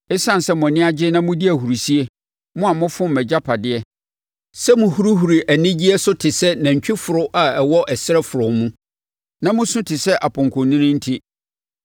“Esiane sɛ mo ani gye na modi ahurisie, mo a mofom mʼagyapadeɛ, sɛ mohurihuri anigyeɛ so te sɛ nantwiforo a ɔwɔ ɛserɛ frɔmm mu na mosu te sɛ apɔnkɔnini enti,